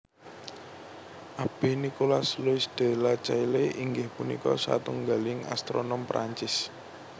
Abbé Nicolas Louis de Lacaille inggih punika satunggaling astronom Prancis